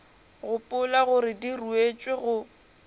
gopola gore di ruetšwe go